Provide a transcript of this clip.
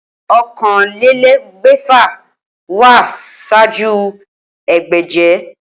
Okanlelegbèfà wá sáájú egbèje